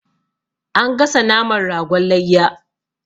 An gasa naman ragon layya.